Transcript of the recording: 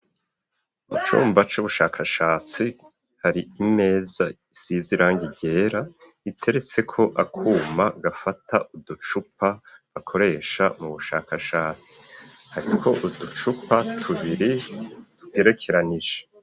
Mu cumba c'ubushakashatsi hari imeza isize irangi ryera, iteretseko akuma gafata uducupa bakoresha mu bushakashatsi, ariko uducupa tubiri tugerekeranije.